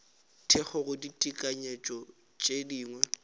thekgo go ditekanyo tše dingwe